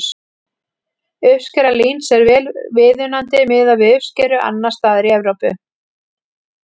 Uppskera líns er vel viðunandi miðað við uppskeru annars staðar í Evrópu.